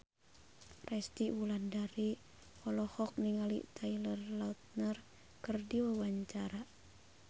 Resty Wulandari olohok ningali Taylor Lautner keur diwawancara